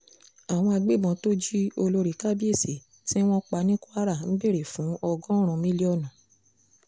àwọn agbébọ́n tó jí olórí kábíyèsí tí wọ́n pa ní kwara ń béèrè fún ọgọ́rùn-ún mílíọ̀nù